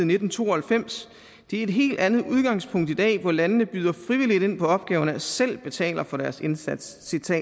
nitten to og halvfems det er et helt andet udgangspunkt i dag hvor landene byder frivilligt ind på opgaverne og selv betaler for deres indsats